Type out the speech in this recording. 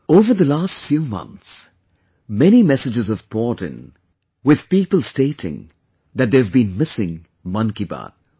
Over the last few months, many messages have poured in, with people stating that they have been missing 'Mann Ki Baat'